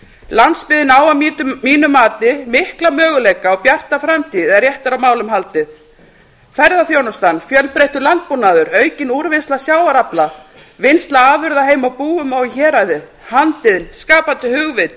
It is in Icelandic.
landsbyggðin á að mínu mati mikla möguleika og bjarta framtíð ef rétt er á málum haldið ferðaþjónustan fjölbreyttur landbúnaður aukin úrvinnsla sjávarafla vinnsla afurða heima á búum og í héraði andinn skapandi hugvit og